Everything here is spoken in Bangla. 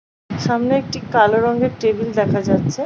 সামনে একটি কালো রঙের টেবিল দেখা যাচ্ছে।